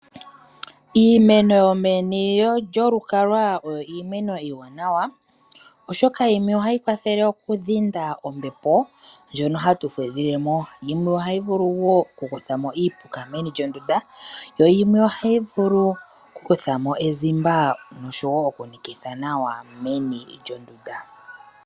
Iimeno yomeni lyolukalwa oyo iimeno iiwanawa oshoka yimwe ohayi kwathele okudhinda ombepo ndjono hatu fudhilemo. Yimwe ohayi vulu okuthamo iipuka meni lyondunda, ohayi vulu woo okukuthamo ezimba ewinayi, etayi tulamo ezimba ewanawa.